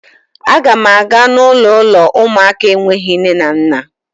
Agam aga n'ulo uụlọ ụmụaka enweghị nne na nna